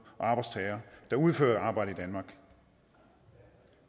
og arbejdstagere der udfører arbejde